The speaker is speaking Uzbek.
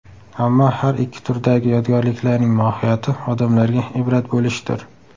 Ammo har ikki turdagi yodgorliklarning mohiyati odamlarga ibrat bo‘lishdir.